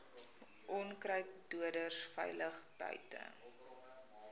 onkruiddoders veilig buite